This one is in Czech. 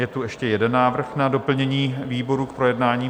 Je tu ještě jeden návrh na doplnění výboru k projednání.